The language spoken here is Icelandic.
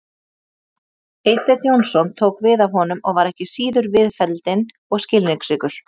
Eysteinn Jónsson tók við af honum og var ekki síður viðfelldinn og skilningsríkur.